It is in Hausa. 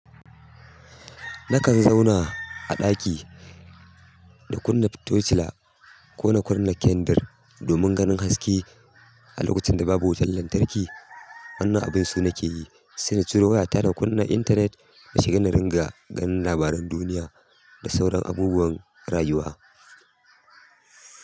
Nakan zauna a ɗaki da kunna fitocila ko na kunna kendir domin ganin haske a lokacin da babu wutan lantarki. Wannan abun su na ke yi, sai na ciro wayata da kunna intanet, na shiga na ringa ganin labaran duniya da sauran abubuwan rayuwa.